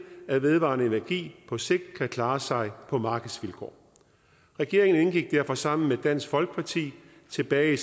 at vedvarende energi på sigt kan klare sig på markedsvilkår regeringen indgik derfor sammen med dansk folkeparti tilbage